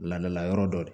Ladala yɔrɔ dɔ de ye